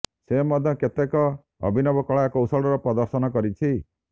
ସେ ମଧ୍ୟ କେତେକ ଅଭିନବ କଳା କୌଶଳର ପ୍ରଦର୍ଶନ କରିଛି